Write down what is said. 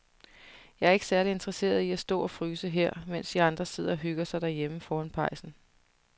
Jeg er ikke særlig interesseret i at stå og fryse her, mens de andre sidder og hygger sig derhjemme foran pejsen.